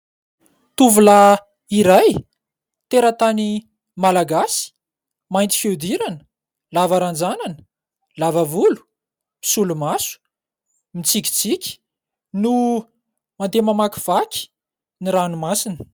Tovolahy iray teratany Malagasy, mainty fihodirana, lava ranjanana, lava volo, misolomaso, mitsikitsiky no mandeha mamakivaky ny ranomasina.